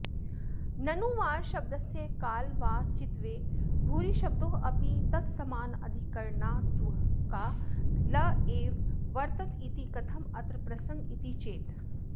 ननु वारशब्दस्य कालवाचित्वे भूरिशब्दोऽपि तत्समानाधिकरणात्वात्काल एव वर्तत इति कथमत्र प्रसङ्ग इति चेत्